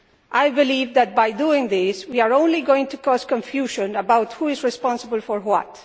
I believe that, by doing this, we are only going to cause confusion about who is responsible for what.